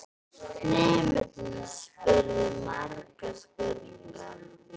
Nemendurnir spurðu margra spurninga.